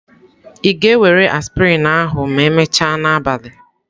Ị ga-ewere aspirin ahụ ma emechaa n'abalị?